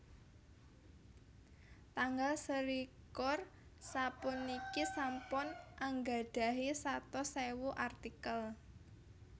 Tanggal selikur sapuniki sampun anggadhahi satus ewu artikel